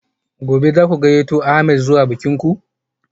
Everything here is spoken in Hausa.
Gobe ​​zaku gayyato ahmed zuwa bikin ku?